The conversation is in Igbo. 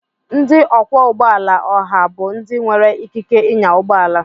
Ndị ọkwọ ụgbọ ala oha bụ ndị nwere ikike ịnya ụgbọ ala